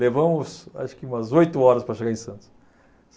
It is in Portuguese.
Levamos, acho que umas oito horas para chegar em Santos.